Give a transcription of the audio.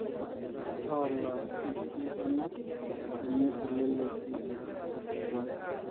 towola inkikualunat enye teleleki otesipata.